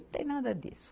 Não tem nada disso.